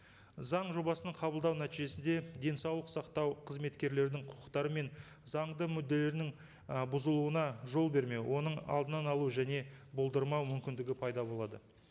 заң жобасын қабылдау нәтижесінде денсаулық сақтау қызметкерлерінің құқықтары мен заңды мүдделерінің і бұзуына жол бермеу оның алдынан алу және болдырмау мүмкіндігі пайда болады